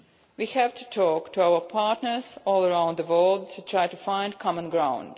We have to talk to our partners all around the world to try to find common ground.